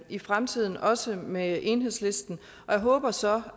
i fremtiden også med enhedslisten og jeg håber så